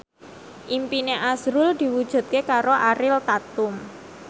impine azrul diwujudke karo Ariel Tatum